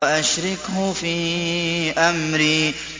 وَأَشْرِكْهُ فِي أَمْرِي